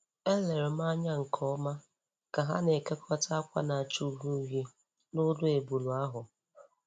E lere m anya nkeọma ka ha na-ekekọta ákwà na-acha uhie uhie n'olu ebule ahụ.